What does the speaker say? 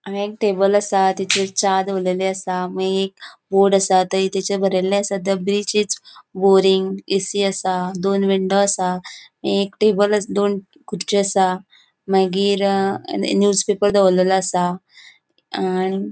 हान्गा एक टेबल आसा तेजेर चा दवरलेली आसा मागिर एक बोर्ड आसा थंय तिचे बरेले आसा थंय बीच इस बोरिंग ऐसी आसा दोन विंडो आसा एक टेबल आसा दोन खुर्ची आसा मागिर एक न्यूज पेपर दोवरलेलो आसा आणि --